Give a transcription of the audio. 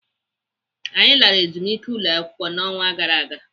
Anyị lara ezumike ụlọakwụkwọ n'ọnwa gara aga.